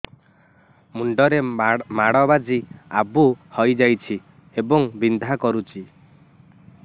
ମୁଣ୍ଡ ରେ ମାଡ ବାଜି ଆବୁ ହଇଯାଇଛି ଏବଂ ବିନ୍ଧା କରୁଛି